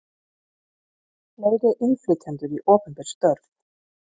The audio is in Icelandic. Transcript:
Fleiri innflytjendur í opinber störf